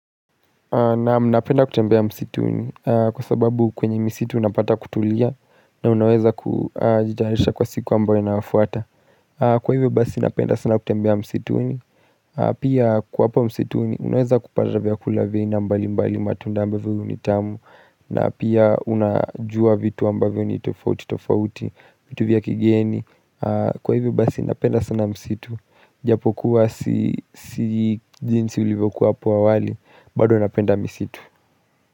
Naam, napenda kutembea msituni kwa sababu kwenye misitu unapata kutulia na unaweza kujitaharisha kwa siku ambayo inafuata Kwa hivyo basi napenda sana kutembea msituni Pia kuwa hapa msituni unaweza kupata vyakula vya aina mbalimbali matunda ambavyo nitamu na pia unajua vitu ambavyo ni tofauti tofauti vitu vya kigeni Kwa hivyo basi napenda sana msitu Japokuwa si jinsi ulivyokuwa hapo awali bado napenda misitu.